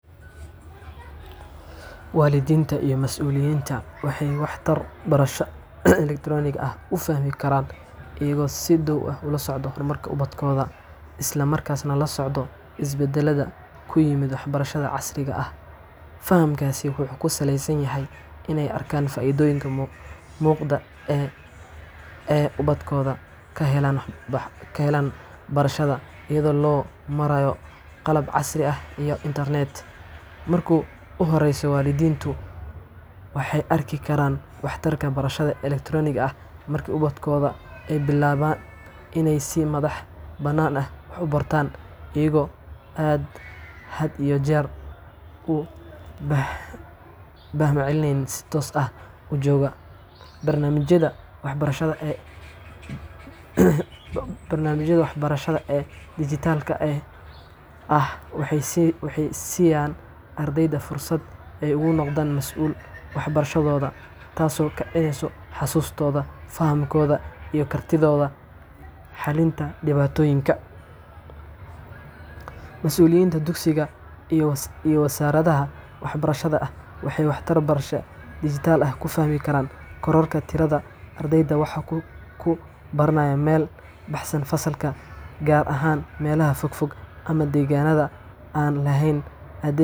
Waalidiinta iyo mas’uuliyiinta waxay waxtarka barashada elektaroonigga ah u fahmi karaan iyagoo si dhow ula socda horumarka ubadkooda, isla markaana la socda isbeddelada ku yimid waxbarashada casriga ah. Fahamkaasi wuxuu ku salaysan yahay in ay arkaan faa’iidooyinka muuqda ee ubadkooda ka helaan barashada iyadoo loo marayo qalab casri ah iyo internetka. Marka ugu horreysa, waalidiintu waxay arki karaan waxtarka barashada elektaroonigga ah marka ubadkooda ay bilaabaan in ay si madax-bannaan wax u bartaan, iyagoo aan had iyo jeer u baahnayn macallin si toos ah u jooga. Barnaamijyada waxbarasho ee dhijitaalka ah waxay siiyaan ardayda fursad ay ugu noqdaan masuul waxbarashadooda, taas oo kobcinaysa xasuustooda, fahamkooda, iyo kartidooda xalinta dhibaatooyinka. Mas’uuliyiinta dugsiyada iyo wasaaradaha waxbarashada waxay waxtarka barashada dhijitaalka ah ku fahmi karaan kororka tirada ardayda wax ku baranaya meel ka baxsan fasalka, gaar ahaan meelaha fog fog ama deegaannada aan lahayn.